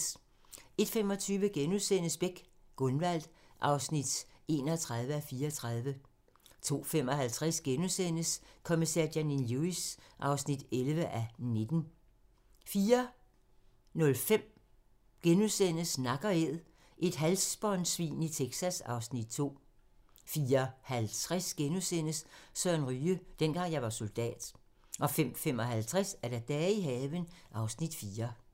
01:25: Beck: Gunvald (31:34)* 02:55: Kommissær Janine Lewis (11:19)* 04:05: Nak & æd - et halsbåndsvin i Texas (Afs. 2)* 04:50: Søren Ryge: Dengang jeg var soldat * 05:55: Dage i haven (Afs. 4)